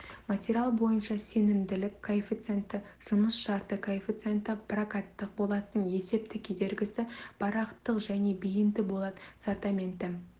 материал бойынша сенімділік коэффициенті жұмыс шарты коэффициенті прокаттық болаттың есептік кедергісі парақтық және бейінді болат сортаменті